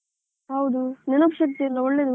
ಹೌದು, ನೆನಪು ಶಕ್ತಿಯೆಲ್ಲಾ ಒಳ್ಳೆದು.